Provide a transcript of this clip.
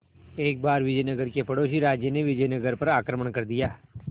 एक बार विजयनगर के पड़ोसी राज्य ने विजयनगर पर आक्रमण कर दिया